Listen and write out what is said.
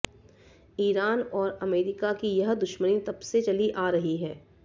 Iran और America की यह दुश्मनी तब से चली आ रही है